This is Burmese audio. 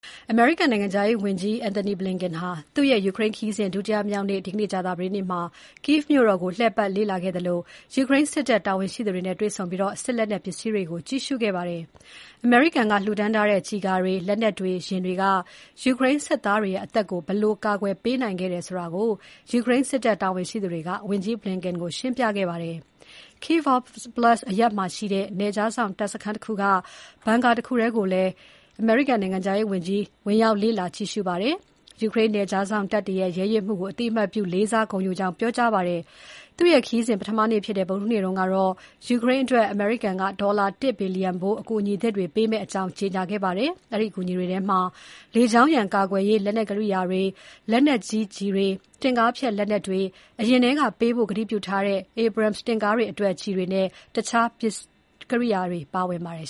အမေရိကန်နိုင်ငံခြားရေးဝန်ကြီး Anthony Blinken ဟာ သူ့ရဲ့ ယူကရိန်းခရီးစဉ် ဒုတိယမြောက်နေ့ ဒီနေ့ကြာသပတေးနေ့မှာ Kyiv မြို့တော်ကို လှည့်ပတ်လေ့လာခဲ့သလို ယူကရိန်းစစ်တပ်တာဝန်ရှိသူတွေနဲ့တွေ့ဆုံပြီး၊ စစ်လက်နက်ပစ္စည်းတွေကို ကြည့်ရှုခဲ့ပါတယ်။ အမေရိကန်က လှူဒါန်းထားတဲ့ ကျည်ကာတွေ၊ လက်နက်တွေ၊ ယာဉ်တွေက ယူကရိန်းစစ်သားတွေရဲ့ အသက်ကို ဘယ်လိုကာကွယ်ပေးနိုင်ခဲ့တယ်ဆိုတာ ယူကရိန်းစစ်တပ်တာဝန်ရှိသူတွေက ဝန်ကြီး Blinken ကိုရှင်းပြခဲ့ပါတယ်။ Kyiv Oblast အရပ်မှာရှိတဲ့ နယ်ခြားစောင့် တပ်စခန်းတခုက bunker တခုထဲကိုလည်း ဝင်ရောက် လေ့လာကြည့်ရှုခဲ့ပါတယ်။ ယူကရိန်းနယ်ခြားစောင့်တပ်တွေရဲ့ ရဲရင့်မှုကို အသိအမှတ်ပြုလေးစား ဂုဏ်ယူကြောင်း ပြောကြားခဲ့ပါတယ်။ သူ့ခရီးစဉ် ပထမနေ့ဖြစ်တဲ့ ဗုဒ္ဓဟူးနေ့ကတော့ ယူကရိန်းအတွက် အမေရိကန်က ဒေါ်လာ ၁ ဘီလျံဖိုး အကူအညီသစ်တွေ ပေးမယ့်အကြောင်း ကြေညာခဲ့ပါတယ်။ အဲဒီ အကူအညီတွေထဲမှာ လေကြောင်းရန်ကာကွယ်ရေး လက်နက်ကိရိယာတွေ၊ လက်နက်ကြီးကျည်တွေ၊ တင့်ကားဖျက်လက်နက်တွေ၊ အရင်ထဲက ပေးဖို့ကတိပြုထားတဲ့ Abrams တင့်ကားတွေအတွက် ကျည်တွေနဲ့ တခြားကိရိယာတွေ ပါဝင်ပါတယ်